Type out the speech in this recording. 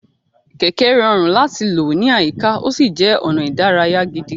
Kẹ̀kẹ́ rọrùn láti lò ní àyíká, ó sì jẹ́ ọ̀nà ìdárayá gidi.